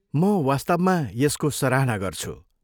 म वास्तवमा यसको सराहना गर्छु।